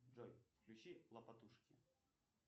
джой включи лапотушки